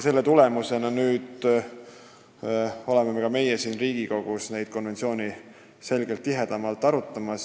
Selle tulemusena me ka siin Riigikogus neid konventsioone rohkem arutame.